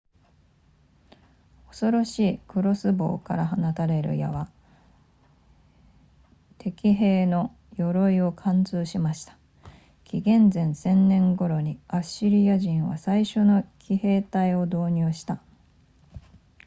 恐ろしいクロスボウから放たれる矢は敵兵の鎧を貫通しました紀元前1000年頃にアッシリア人は最初の騎兵隊を導入した